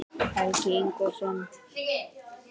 Helgi Ingólfsson.